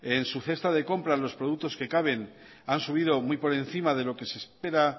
en su cesta de compra los productos que caben has subido muy por encima de lo que se espera